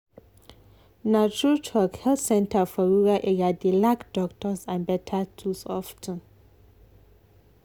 na true talk health center for rural area dey lack doctors and better tools of ten.